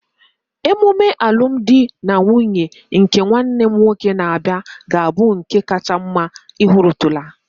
Emume alụm di na nwunye nke nwanne m nwoke na-abịa ga-abụ nke kacha mma ị hụtụrụla